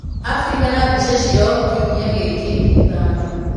Afrika na mbica ciayo kiumia gĩkĩ: Ithano